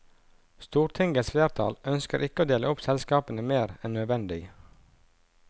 Stortingets flertall ønsker ikke å dele opp selskapene mer enn nødvendig.